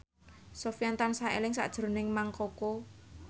Sofyan tansah eling sakjroning Mang Koko